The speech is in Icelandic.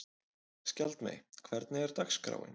Skjaldmey, hvernig er dagskráin?